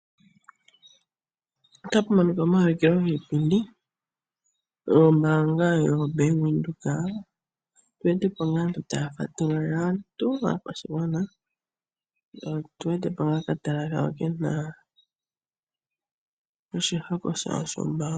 Omaulukilo giipindi yombaanga yoBank Windhoek, mpoka aakwashigwana taya fatululilwa. Opu na wo okatala kawo ke na oshihako shawo shombaanga.